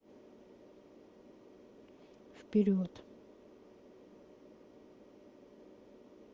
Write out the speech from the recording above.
вперед